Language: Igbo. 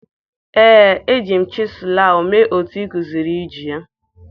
Ee, eji m chisel ahụ mee otu ị kuziri iji ya.